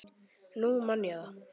Nú man ég það!